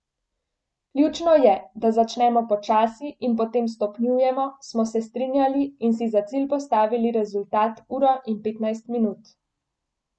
Ključno je, da začnemo počasi in potem stopnjujemo, smo se strinjali in si za cilj postavili rezultat uro in petnajst minut.